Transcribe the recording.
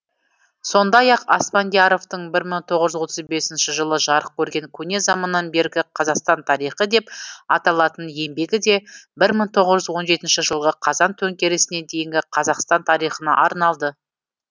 сондай ақ аспандияровтың бір мың тоғыз жүз отыз бесінші жылы жарық көрген көне заманнан бергі қазақстан тарихы деп аталатын еңбегі де бір мың тоғыз жүз он жетінші жылғы қазан төңкерісіне дейінгі қазақстан тарихына арналды